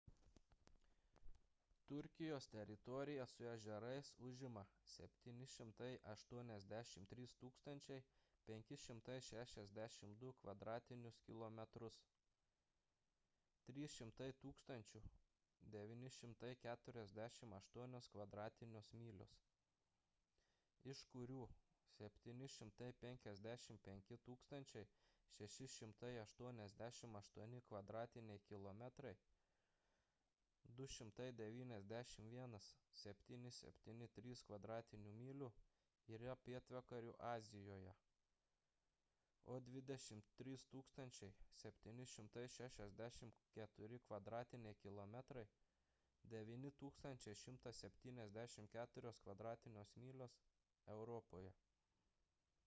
turkijos teritorija su ežerais užima 783 562 kvadratinius kilometrus 300 948 kv. myl. iš kurių 755 688 kvadratiniai kilometrai 291 773 kv. myl. yra pietvakarių azijoje o 23 764 kvadratiniai kilometrai 9 174 kv. myl. – europoje